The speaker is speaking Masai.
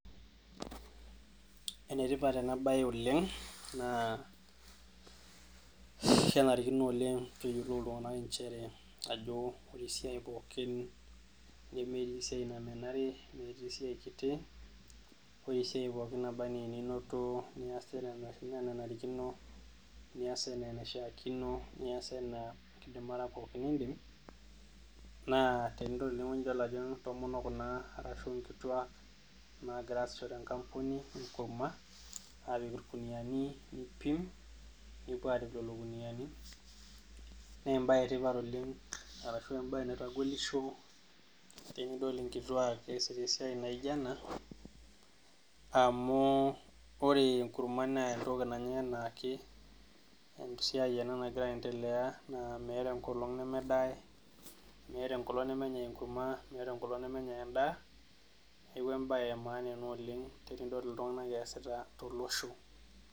Enetipat enabae Oleng na kenarikino oleng peyiolou ltunganak nchere ajo ore esiai pookin nemeyieu esiai namenari nemeetai esiai kiti, ore esiai pookin nabaa ana enito nias nias anaa enaishakinon, nias anaa enkidimata pookin nindim naa telo oltungani nelo ajo nagira asisho tenkampuni apik irguniani nipimbnepuobarip lolo guniani, naembae etipat oleng naitogolissho tenidol nkituak easita esiai nijo ena amu ketum enkurma, entoki nanya, esiaai ena nagira aendelea nemeeta enkolong nemenyae enkurma nemenyae endaa, neaku embae emanaa tolosho.